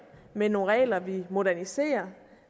men nogle regler vi moderniserer